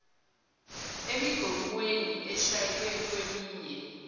emigomweni eshaywe kweminye